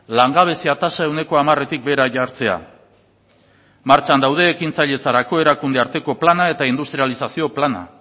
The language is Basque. langabezia tasa ehuneko hamaretik behera jartzea martxan daude ekintzailatzerako erakunde arteko plana eta industrializazio plana